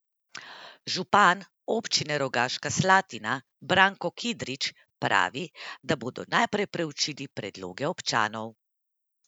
Župan občine Rogaška Slatina Branko Kidrič pravi, da bodo najprej preučili predloge občanov.